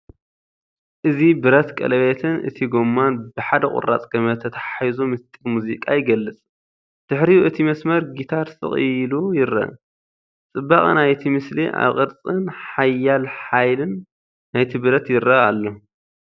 እዚ ብረት ቀለቤትን እቲ ጎማን ብሓደ ቁራጽ ገመድ ተተሓሒዙ ምስጢር ሙዚቃ ይገልጽ። ድሕሪኡ እቲ መስመር ጊታር ስቕ ኢሉ ይረአ፤ ጽባቐ ናይቲ ምስሊ ኣብ ቅርጽን ሓያል ሓይልን ናይቲ ብረት ይርአ ኣሎ።